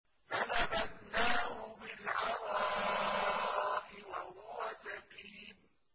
۞ فَنَبَذْنَاهُ بِالْعَرَاءِ وَهُوَ سَقِيمٌ